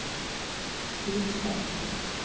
Rysstad